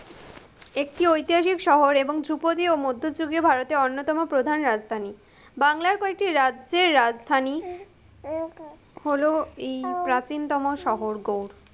একটি ঐতিহাসিক শহর এবং ধ্রুপদীও মধ্যযুগীয় ভারতের অন্যতম প্রধান রাজধানী, বাংলার কয়েকটি রাজ্যের রাজধানী, হলো এই প্রাচীনতম শহর গৌর।